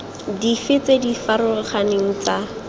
dife tse di farologaneng tsa